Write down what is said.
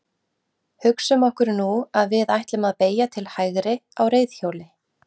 hugsum okkur nú að við ætlum að beygja til hægri á reiðhjóli